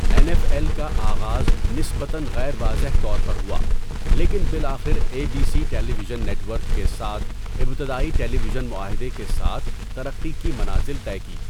N F L کا آغاز نسبتاً غیر واضح طور پر ہوا لیکن بالآخر A B C television network کے ساتھ ابتدائی ٹیلی ویژن معاہدہ کے ساتھ ترقی کی منازل طے کی۔